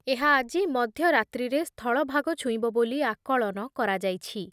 ଏହା ଆଜି ମଧ୍ଯ ରାତ୍ରୀରେ ସ୍ଥଳଭାଗ ଛୁଇଁବ ବୋଲି ଆକଳନ କରଯାଇଛି।